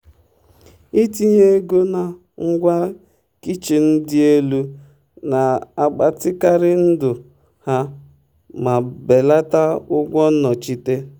itinye ego na ngwa kichin dị elu na-agbatịkarị ndụ ha ma belata ụgwọ nnọchite.